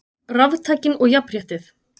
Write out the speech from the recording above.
Raftækin og jafnréttið